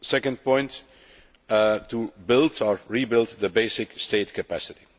The second point is to build, or rebuild, the basic state capacity.